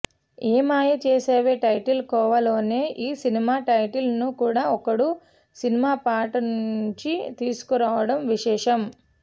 ఏమాయ Chesave title కోవాలోనే ఈ cinema title ను కూడా ఒక్కడు సినిమా పాట నుంచి తీసుకోవడం విశేషం